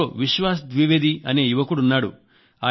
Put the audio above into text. ఎవరో విశ్వాస్ ద్వివేదీ అనే యువకుడున్నాడు